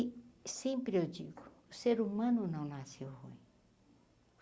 E sempre eu digo, o ser humano não nasceu ruim.